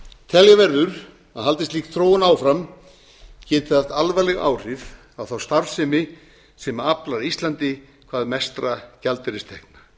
telja verður að haldi slík þróun áfram geti það haft alvarleg áhrif á þá starfsemi sem aflar íslandi hvað mestra gjaldeyristekna